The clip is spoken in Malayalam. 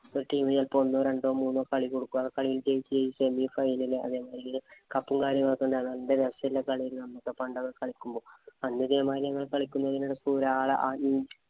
ഒരു team ഇന് ചെലപ്പോ ഒന്നോ രണ്ടോ കളി കൊടുക്കും. ആ കളിയില്‍ ജയിച്ചു ജയിച്ചാല്‍ final. cup ഉം, കാര്യങ്ങളും ഒക്കെ ഉണ്ടേ അതെന്തു രസമല്ലേ കളീന്നു പറഞ്ഞു പണ്ടൊക്കെ കളിക്കുമ്പോ. അന്ന് ഇതേമാതിരി കളിക്കുന്നതിനിടയ്ക്ക് ഒരാള്